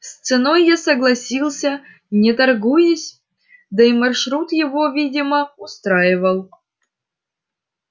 с ценой я согласился не торгуясь да и маршрут его видимо устраивал